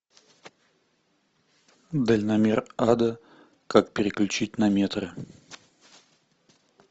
дальномер ада как переключить на метры